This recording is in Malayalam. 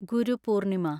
ഗുരു പൂർണിമ